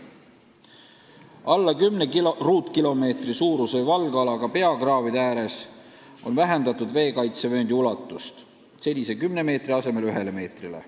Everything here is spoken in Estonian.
Alla 10 ruutkilomeetri suuruse valgalaga peakraavide ääres on vähendatud veekaitsevööndi ulatust senise 10 meetri asemel ühe meetrini.